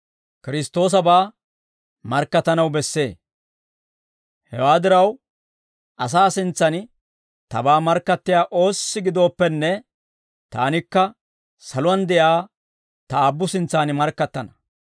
«Hewaa diraw, asaa sintsaan tabaa markkattiyaa oossi gidooppenne, taanikka saluwaan de'iyaa ta Aabbu sintsan markkattana;